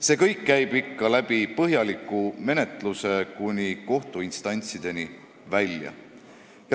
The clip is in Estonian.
See kõik käib ikka põhjaliku menetluse kaudu kuni kohtuinstantsideni välja.